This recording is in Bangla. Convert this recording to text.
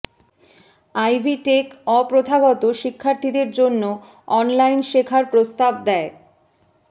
আইভী টেক অ প্রথাগত শিক্ষার্থীদের জন্য অনলাইন শেখার প্রস্তাব দেয়